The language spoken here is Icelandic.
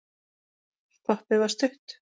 Stoppið var stutt.